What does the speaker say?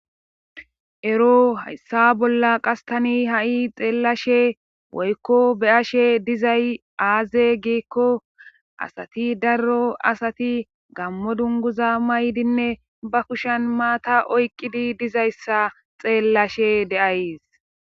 Ero hayssa bolla qastani ha'i xeellashe woykko be ashe dizay aaze giikko asati darro asati gammo dunguza maydinne ba kushan maata oyqqidi dizayssa xeellashe de'ays